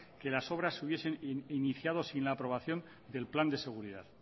que las obras se hubiesen iniciada sin la aprobación del plan de seguridad